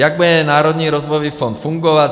Jak bude Národní rozvojový fond fungovat?